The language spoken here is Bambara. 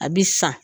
A bi san